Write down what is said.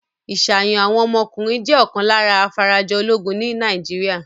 Ìṣàyàn àwọn ọmọkùnrin jẹ́ ọ̀kan lára afarajọ ológun ní Nàìjíríà.